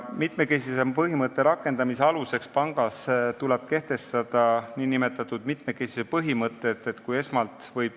Sellepärast tulebki pangas kehtestada nn mitmekesisuse põhimõte.